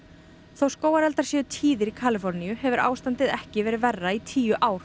þó skógareldar séu tíðir í Kaliforníu hefur ástandið ekki verið verra í tíu ár